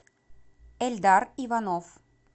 эльдар иванов